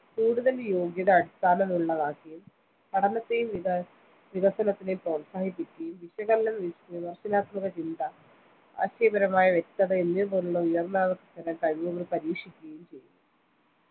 കൂടുതൽ യോഗ്യത അടിസ്ഥാനമാക്കിയുള്ളതും പഠനത്തെയും വികസനത്തെയും പ്രോത്സാഹിപ്പിക്കുകയും വിശകലനം വിമർശനാത്മക ചിന്ത ആശയപരമായ വ്യക്തത എന്നിവ പോലുള്ള ഉയർന്നതരം കഴിവുകൾ പരീപരീക്ഷിക്കുകയും ചെയ്യുന്ന